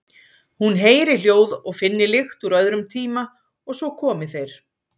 Hún heyri hljóð og finni lykt úr öðrum tíma og svo komi þeir.